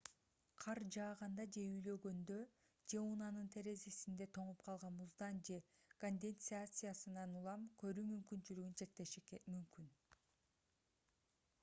кар жааганда же үйлөгөндө же унаанын терезесинде тоңуп калган муздан же конденсациядан улам көрүү мүмкүнчүлүгүн чектеши мүмкүн